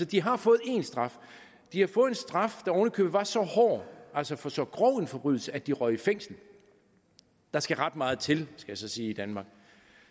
de har fået én straf de har fået en straf der oven i købet var så hård altså for så grov en forbrydelse at de røg i fængsel der skal ret meget til skal jeg så sige i danmark